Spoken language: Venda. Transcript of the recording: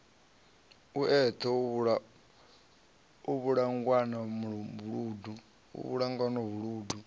e eṱhe u vhulawanga vhuludu